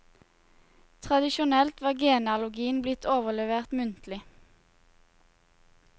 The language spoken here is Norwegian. Tradisjonelt var genealogien blitt overlevert muntlig.